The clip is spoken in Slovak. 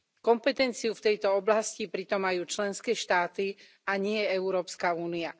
Kompetenciu v tejto oblasti pritom majú členské štáty, a nie Európska únia.